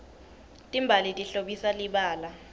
timbali tihlobisa libala